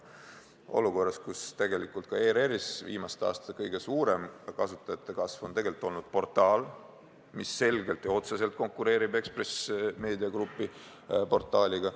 Ent oleme olukorras, kus tegelikult ka ERR-is on viimaste aastate kõige suurem kasutajate kasv saanud osaks portaalile, mis selgelt ja otseselt konkureerib Ekspress Meedia portaalidega.